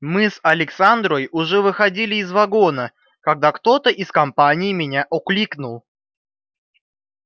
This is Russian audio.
мы с александрой уже выходили из вагона когда кто-то из компании меня окликнул